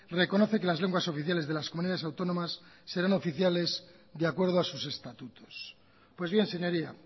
reconoce que las lenguas oficiales de las comunidades autónomas serán oficiales de acuerdo a sus estatutos pues bien señoría